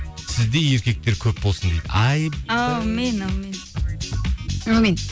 сіздей еркектер көп болсын дейді әумин